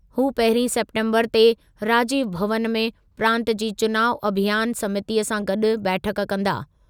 हू पहिरीं सेप्टेम्बरु ते राजीव भवनु में प्रांतु जी चुनाव अभियानु समितीअ सां गॾु बैठकु कंदा।